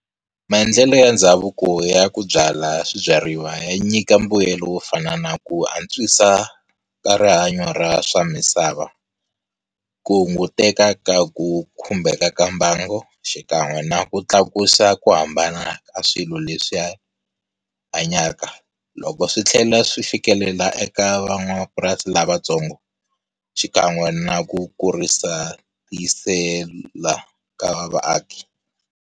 Maendlelo ya ndhavuko ya ku byala swibyariwa ya nyika mbuyelo wo fana na ku antswisa ka rihanyo ra swa misava. Ku hunguteka ka ku khumbheka ka mbangu xikan'we na ku tlakusa ku hambana ka swilo leswi hanyaka. Loko swi tlhela swi fikelela eka van'wamapurasi lavatsongo xikan'we na ku kurisa ku tiyisela ka vaaki.